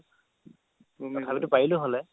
তথাপিতো পাৰিলো হ'লে